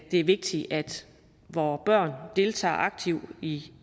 det er vigtigt at vore børn deltager aktivt i